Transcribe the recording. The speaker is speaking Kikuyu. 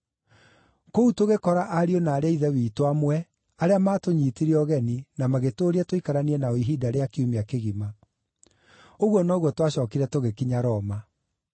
Kũu tũgĩkora ariũ na aarĩ a Ithe witũ amwe, arĩa maatũnyiitire ũgeni, na magĩtũũria tũikaranie nao ihinda rĩa kiumia kĩgima. Ũguo noguo twacookire tũgĩkinya Roma.